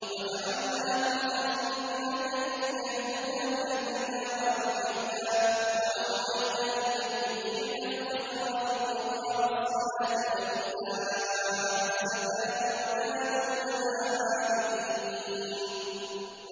وَجَعَلْنَاهُمْ أَئِمَّةً يَهْدُونَ بِأَمْرِنَا وَأَوْحَيْنَا إِلَيْهِمْ فِعْلَ الْخَيْرَاتِ وَإِقَامَ الصَّلَاةِ وَإِيتَاءَ الزَّكَاةِ ۖ وَكَانُوا لَنَا عَابِدِينَ